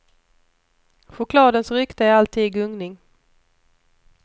Chokladens rykte är alltid i gungning.